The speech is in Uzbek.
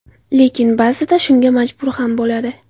Lekin, ba’zida shunga majbur ham bo‘ladi.